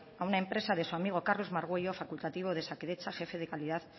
a una empresa de su amigo carlos margüello facultativo de osakidetza jefe de calidad